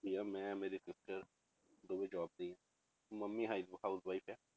ਆ, ਮੈਂ ਮੇਰੇ sister ਦੋਵੇਂ job ਤੇ ਹੀ ਹਾਂ, ਮੰਮੀ ਹਾਈ~ housewife ਹੈ।